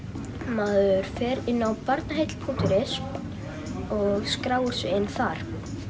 maður fer inn á Barnaheill punktur is og skráir sig inn þar